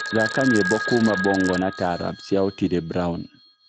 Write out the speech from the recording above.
thaka nyĩmbo kũũma bongo na taarabũ cĩa otile brown